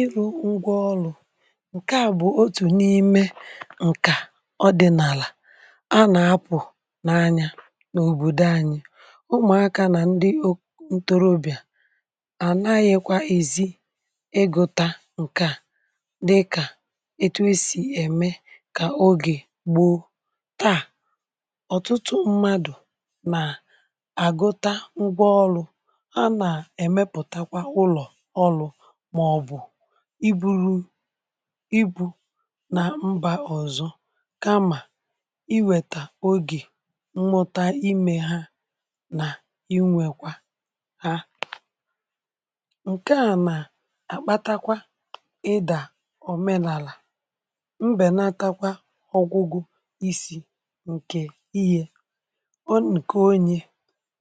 Ịrụ̇ ngwa ọlụ̇, ǹkè a bụ̀ otù n’ime ǹkà ọdị̀nàlà a nà-apụ̀ n’anya n’òbòdò anyi̇ ụmụ̀aka nà ndị o ntorobị̀à à ànaghịkwa ìzi ịgụ̇ta ǹkè a dịkà etu e si ẹ̀mẹ kà ogè gbù. taà ọ̀tụtụ mmadù nà àgụta ngwa ọlụ̇, a nà èmepùtakwa ụlọ̀ ọlụ̇ maọbụ ị buru ị bu nà mbà ọ̀zọ, kamà ị wètà ogè mmụta ị mėha nà inwèkwa ha. Nke à nà àgbatakwa ịdà òmenàlà, mbènatakwa ọgwụgwụ isi̇ ǹkè ihė o n’ǹke onye.